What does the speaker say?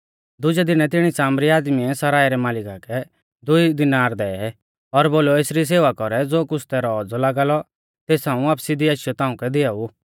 दुजै दीनै तिणी सामरी आदमीऐ सरायं रै मालिका कै दुई दिनार दै और बोलौ एसरी सेवा कौरै ज़ो कुछ़ तैरौ औज़ौ लागा लौ तेस हाऊं वापसी दी आशीयौ ताऊं कै दिआऊ